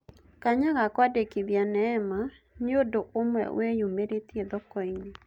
Kanya ga kũandĩkithia Neema nĩũndũ-ũmwe wĩyumĩrĩtie thokoinĩ.